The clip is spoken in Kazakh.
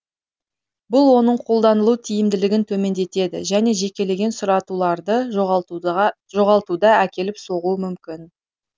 бұл оның қолданылу тиімділігін төмендетеді жөне жекелеген сұратуларды жоғалтута әкеліп соғуы мүмкін